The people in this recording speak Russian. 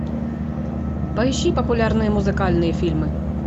поищи популярные музыкальные фильмы